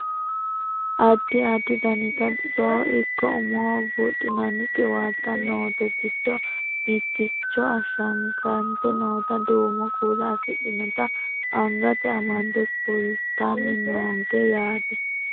addi addi daniti bisoho ikko umoho buudhinanni qiwaatta noote giddo mitticho ashshagante noota duumo kuula afidhinota angate amadde kultanni noonke yaate